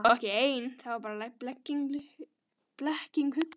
Hún var þá ekki ein, það var bara blekking hugans.